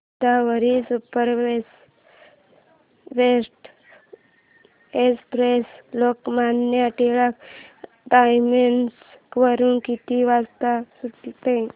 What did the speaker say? Godavari superfast express Lokmanya Tilak terminus वरून किती वाजता सुटते